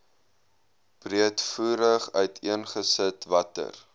breedvoerig uiteengesit watter